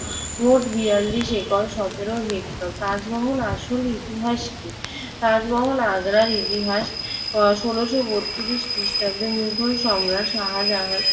মোট বেয়াল্লিশ একর সতেরো হেক্টর। তাজমহলের আসল ইতিহাস কি? তাজমহল আগ্রার ইতিহাস। আহ ষোলশ বত্রিশ খ্রিস্টাব্দে মোগল সম্রাট শাহজাহান